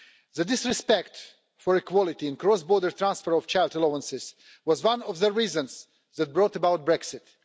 The disrespect for equality in cross border transfer of child allowances is one of the reasons that brought about Brexit.